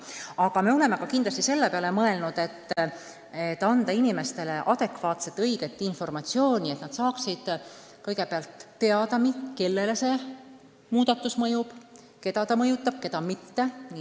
Muidugi me oleme selle peale mõelnud, et inimestele tuleb anda adekvaatset, õiget informatsiooni, et nad saaksid kõigepealt teada, kellele muudatused mõjuvad, kellele mitte.